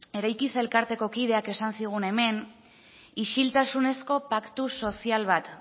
eraikiz elkarteko kideak esan zigun hemen isiltasunezko paktu sozial bat